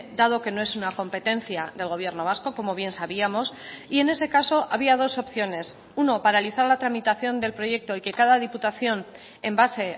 dado que no es una competencia del gobierno vasco como bien sabíamos y en ese caso había dos opciones uno paralizar la tramitación del proyecto y que cada diputación en base